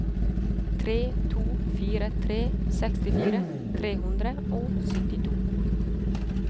tre to fire tre sekstifire tre hundre og syttito